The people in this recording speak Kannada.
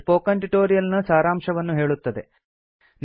ಇದು ಸ್ಪೋಕನ್ ಟ್ಯುಟೋರಿಯಲ್ ನ ಸಾರಾಂಶವನ್ನು ಹೇಳುತ್ತದೆ